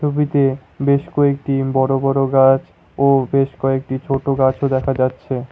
ছবিতে বেশ কয়েকটি বড়ো বড়ো গাছ ও বেশ কয়েকটি ছোট গাছও দেখা যাচ্ছে ।